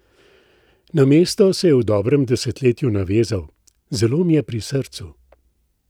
Na mesto se je v dobrem desetletju navezal: "Zelo mi je pri srcu.